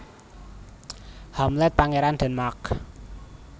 Hamlet Pangeran Denmark